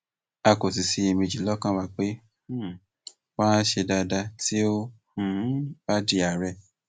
a kò sì ṣiyèméjì lọkàn wa pé um wa á ṣe dáadáa tí ó um bá di àárẹ